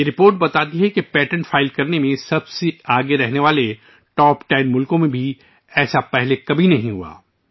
یہ رپورٹ ظاہر کرتی ہے کہ پیٹنٹ فائل کرنے میں سب سے آگے رہنے والے ٹاپ 10 ممالک میں بھی ایسا پہلے کبھی نہیں ہوا